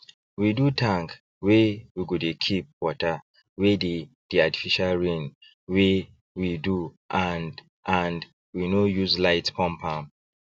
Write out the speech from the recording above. we do tank wey we go dey keep water wey dey the artificial rain wey we do and and we no use light pump am